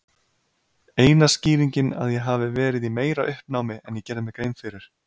Eina skýringin að ég hafi verið í meira uppnámi en ég gerði mér grein fyrir.